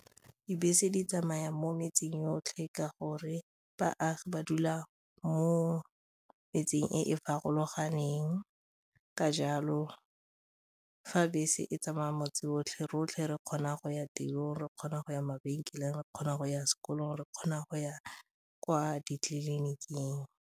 Dibese di tsamaya mo metseng yotlhe ka gore baagi ba dula mo metseng e e farologaneng ka jalo fa bese e tsamaya motse otlhe, rotlhe re kgona go ya tirong, re kgona go ya mabenkeleng, re kgona go ya sekolong, re kgona go ya kwa ditleliniking.